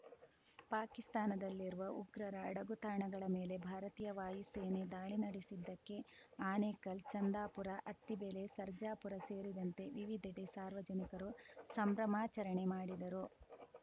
ಪಾಕಿಸ್ತಾನದಲ್ಲಿರುವ ಉಗ್ರರ ಅಡಗು ತಾಣಗಳ ಮೇಲೆ ಭಾರತೀಯ ವಾಯುಸೇನೆ ದಾಳಿ ನಡೆಸಿದ್ದಕ್ಕೆ ಆನೇಕಲ್‌ ಚಂದಾಪುರ ಅತ್ತಿಬೆಲೆ ಸರ್ಜಾಪುರ ಸೇರಿದಂತೆ ವಿವಿಧೆಡೆ ಸಾರ್ವಜನಿಕರು ಸಂಭ್ರಮಾಚರಣೆ ಮಾಡಿದರು